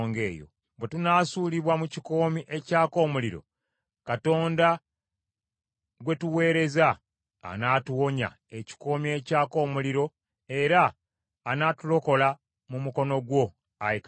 Bwe tunaasuulibwa mu kikoomi ekyaka omuliro, Katonda gwe tuweereza anaatuwonya ekikoomi ekyaka omuliro era anaatulokola mu mukono gwo, ayi kabaka.